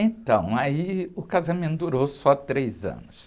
Então, aí o casamento durou só três anos.